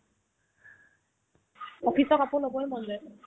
office ৰ কাপোৰে ল'ব মন যায়